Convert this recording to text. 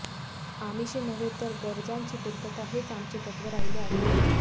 आमिषे नव्हे तर गरजांची पूर्तता हेच आमचे तत्व राहिले आहे